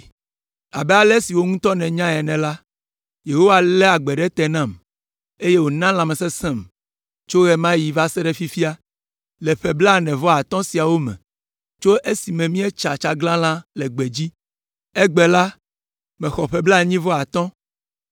“Abe ale si wò ŋutɔ nènya ene la, Yehowa lé agbe ɖe te nam, eye wòna lãmesesẽm tso ɣe ma ɣi va se ɖe fifia, le ƒe blaene-vɔ-atɔ̃ siawo me, tso esime míetsa tsaglalã le gbedzi. Egbe la, mexɔ ƒe blaenyi-vɔ-atɔ̃,